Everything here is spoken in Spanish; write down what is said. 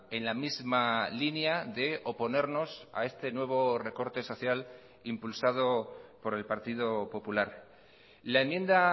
en la misma línea de oponernos a este nuevo recorte social impulsado por el partido popular la enmienda